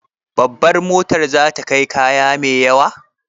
Babar motar za ta kai kaya mai yawa?